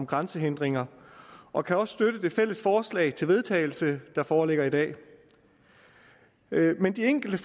grænsehindringer og kan også støtte det fælles forslag til vedtagelse der foreligger i dag men de enkelte